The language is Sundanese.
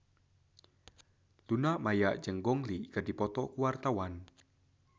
Luna Maya jeung Gong Li keur dipoto ku wartawan